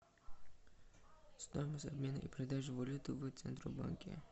стоимость обмена и продажи валюты в центробанке